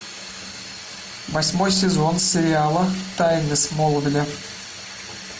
восьмой сезон сериала тайны смолвиля